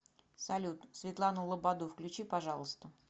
салют светлану лободу включи пожалуйста